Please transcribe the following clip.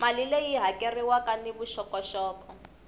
mali leyi hakeriwaka ni vuxokoxoko